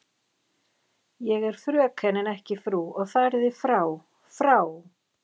Ég er fröken en ekki frú og fariði frá, FRÁ.